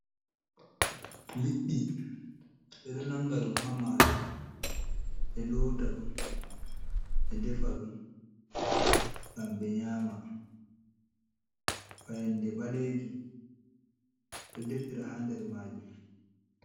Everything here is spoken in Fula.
Liɗɗi ɓe ɗo nanga ɗum ha mayo, ɓe lota ɗum ɓe defa ɗum ngam ɓe nyama, fayande ɓalejum ɓeɗo defira ha nder majum.